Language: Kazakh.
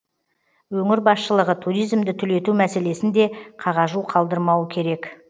өңір басшылығы туризмді түлету мәселесін де қағажу қалдырмауы керек